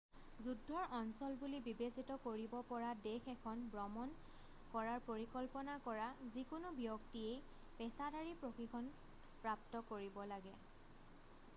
যুদ্ধ্বৰ অঞ্চল বুলি বিবেচিত কৰিব পৰা দেশ এখন ব্ৰমণ কৰাৰ পৰিকল্পনা কৰা যিকোনো ব্যক্তিয়েই পেচাদাৰী প্ৰশিক্ষণ প্ৰাপ্ত কৰিব লাগে